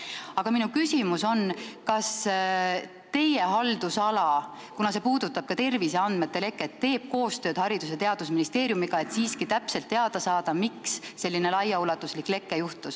Aga kuna see puudutab ka terviseandmete leket, siis minu küsimus on, kas teie haldusala teeb koostööd Haridus- ja Teadusministeeriumiga, et siiski täpselt teada saada, miks selline laiaulatuslik leke tekkis.